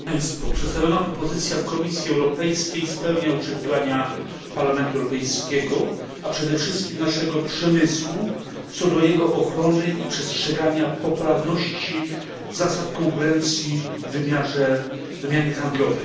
Przedstawiona propozycja Komisji Europejskiej spełnia oczekiwania Parlamentu Europejskiego, a przede wszystkim naszego przemysłu, co do jego ochrony i przestrzegania poprawności zasad konkurencji w wymianie handlowej.